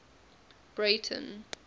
breyten